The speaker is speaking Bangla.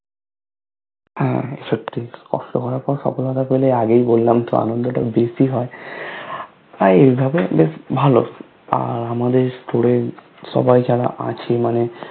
হা সত্যি কষ্ট করার পর সফলতা পেলে আগেই বললাম তো আনন্দ টা বেশি হয় আর এইভাবে বেশ ভালো আমাদের Store এ সবাই যারা আছে মানে